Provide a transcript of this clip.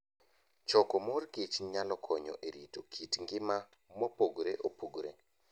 Choko mor kich nyalo konyo e rito kit ngima mopogore opogore.